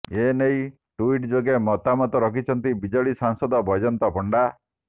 ଏ ନେଇ ଟୁଇଟ୍ ଯୋଗେ ମତାମତ ରଖିଛନ୍ତି ବିଜେଡି ସାଂସଦ ବୈଜୟନ୍ତ ପଣ୍ଡା